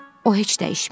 O heç dəyişməyib.